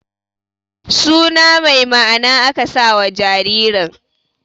Su na mai ma'ana aka sa wa jaririn